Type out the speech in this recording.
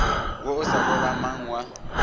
wo o sa lolamang wa